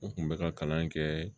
N kun bɛ ka kalan kɛ